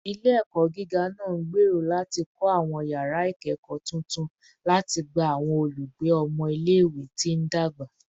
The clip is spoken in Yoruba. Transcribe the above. Ile-ẹkọ giga naa ngbero lati kọ awọn yara ikẹkọ tuntun lati gba awọn olugbe ọmọ ile-iwe ti ndagba